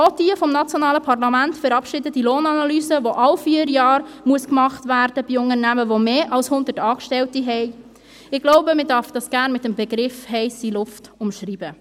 Auch die vom nationalen Parlament verabschiedete Lohnanalyse, die von Unternehmen mit mehr als hundert Angestellten alle vier Jahre erstellt werden muss – ich glaube, diese darf man gerne mit dem Begriff «heisse Luft» umschreiben.